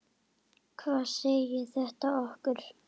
Hvað segir þetta okkur?